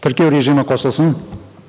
тіркеу режимі қосылсын